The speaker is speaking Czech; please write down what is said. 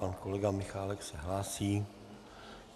Pan kolega Michálek se hlásí.